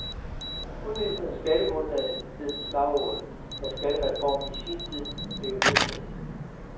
Udvidelse af skattegrundlaget, hed slagordet, da skattereformen i sin tid blev vedtaget.